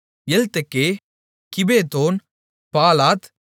Eltekeh Gibbethon Baalath